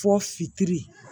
Fɔ fitiri